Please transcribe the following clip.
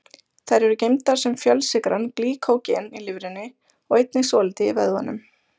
Þær eru geymdar sem fjölsykran glýkógen í lifrinni og einnig svolítið í vöðvunum.